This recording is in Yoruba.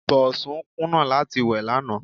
Bọ̀sún kùnà láti wẹ̀ lánàá.